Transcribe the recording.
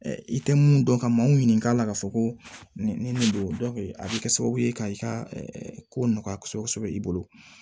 I tɛ mun dɔn ka maaw ɲininka a la k'a fɔ ko ni nin don a bɛ kɛ sababu ye ka i ka ko nɔgɔya kosɛbɛ kosɛbɛ i bolo